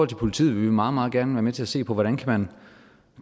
til politiet vil vi meget meget gerne være med til at se på hvordan kan man